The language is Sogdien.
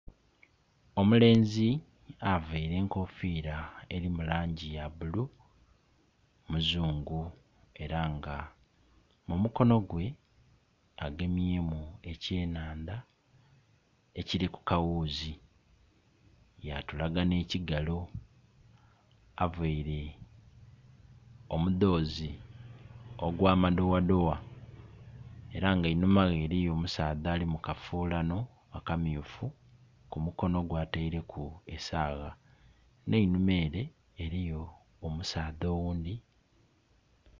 Omulenzi avaire enkofira eri mu langi ya bulu muzungu era nga mumukono gwe agemyemu ekyenandha ekili ku kaghuzi ya tulaga ne kigalo. Avaire omudhozi ogwa madowadowa era nga einhuma ghe eriyo omusaadha ali mu kafulano akamyufu ku mu kono gwe ataireku esagha neinhuma ere eriyo omusaadha oghundhi.